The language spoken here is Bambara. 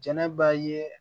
Jɛnɛba ye